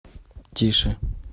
тише